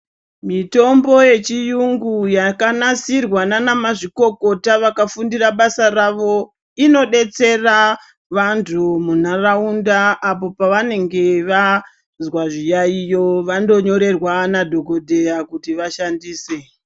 Mitombo yechirungu yakanasirwa nana mazvikokota vakafundira basa ravo inodetsera vantu mundaraunda apo pavanenge vazwa zviyaiyo vandonyorerwa nadhokotera kuti vashandise.